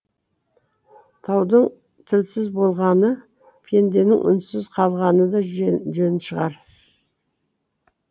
таудың тілсіз болғаны пенденің үнсіз қалғаны да жөн шығар